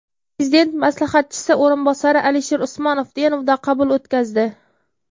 Prezident maslahatchisi o‘rinbosari Alisher Usmonov Denovda qabul o‘tkazdi.